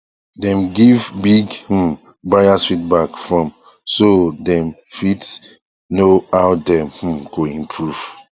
dem give big um buyers feedback form so dem um fit know how dem um go improve